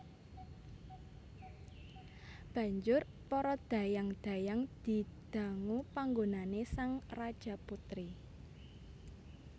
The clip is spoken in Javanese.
Banjur para dhayang dhayang didangu panggonané sang Rajaputri